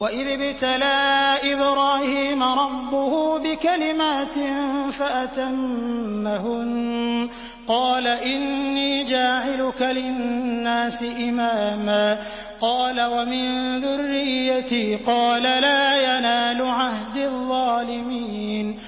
۞ وَإِذِ ابْتَلَىٰ إِبْرَاهِيمَ رَبُّهُ بِكَلِمَاتٍ فَأَتَمَّهُنَّ ۖ قَالَ إِنِّي جَاعِلُكَ لِلنَّاسِ إِمَامًا ۖ قَالَ وَمِن ذُرِّيَّتِي ۖ قَالَ لَا يَنَالُ عَهْدِي الظَّالِمِينَ